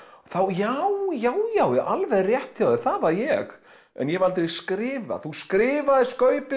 já já já alveg rétt hjá þér það var ég en ég hef aldrei skrifað þú skrifaðir skaupið